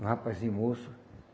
Um rapazinho moço.